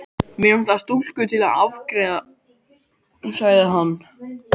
Mig vantar stúlku til að afgreiða sagði hann.